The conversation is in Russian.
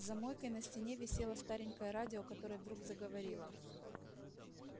за мойкой на стене висело старенькое радио которое вдруг заговорило